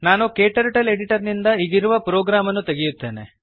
ನಾನು KTurtle editor ನಿಂದ ಈಗಿರುವ ಪ್ರೋಗ್ರಾಮ್ ಅನ್ನು ತೆಗೆಯುತ್ತೇನೆ